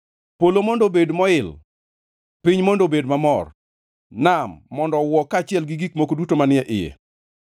Polo mondo obed moil, piny mondo obed mamor; nam mondo owuo kaachiel gi gik moko duto manie iye;